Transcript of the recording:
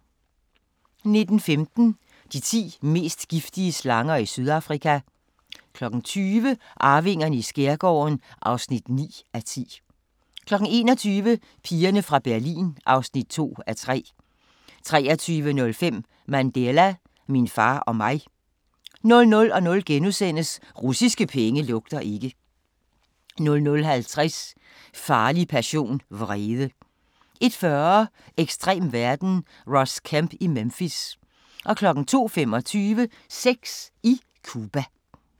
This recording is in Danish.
19:15: De ti mest giftige slanger i Sydafrika 20:00: Arvingerne i skærgården (9:10) 21:00: Pigerne fra Berlin (2:3) 23:05: Mandela – min far og mig 00:00: Russiske penge lugter ikke * 00:50: Farlig passion - vrede 01:40: Ekstrem verden – Ross Kemp i Memphis 02:25: Sex i Cuba